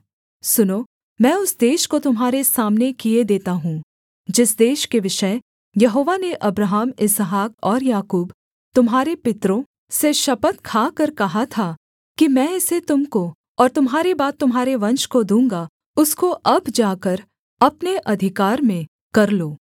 सुनो मैं उस देश को तुम्हारे सामने किए देता हूँ जिस देश के विषय यहोवा ने अब्राहम इसहाक और याकूब तुम्हारे पितरों से शपथ खाकर कहा था कि मैं इसे तुम को और तुम्हारे बाद तुम्हारे वंश को दूँगा उसको अब जाकर अपने अधिकार में कर लो